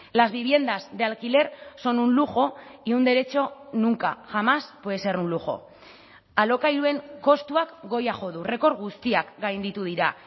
las viviendas de alquiler son un lujo y un derecho nunca jamás puede ser un lujo alokairuen kostuak goia jo du errekor guztiak gainditu dira